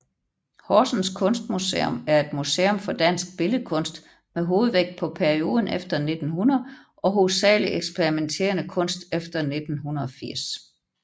Horsens Kunstmuseum er et museum for dansk billedkunst med hovedvægt på perioden efter 1900 og hovedsageligt eksperimenterende kunst efter 1980